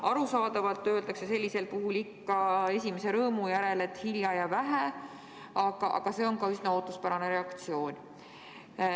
Arusaadavalt öeldakse sellisel puhul ikka esimese rõõmu järel, et hilja ja vähe, aga see on ka üsna ootuspärane reaktsioon.